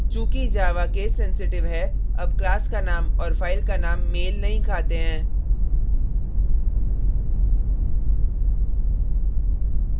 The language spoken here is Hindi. चूँकि java casesensitive है अब class का name और file का name मेल नहीं खाते हैं